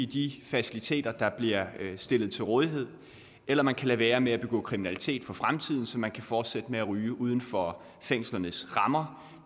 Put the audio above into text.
de faciliteter der bliver stillet til rådighed eller man kan lade være med at begå kriminalitet for fremtiden så man kan fortsætte med at ryge uden for fængslernes rammer